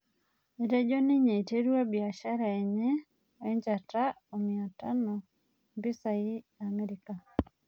Nejo ninye eiterua biashara enye oe njata omiatano mpisai iamerika